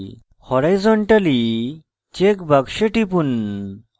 horizontally check box টিপুন